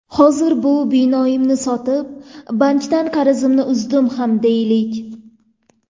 Hozir bu binoimni sotib, bankdan qarzimni uzdim ham deylik.